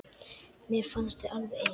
Mér fannst þið alveg eins.